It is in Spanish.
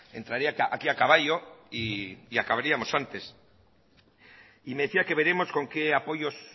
entraría aquí a caballo y acabaríamos antes y me decía que veremos con qué apoyos